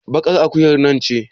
baƙar akuyar nan ce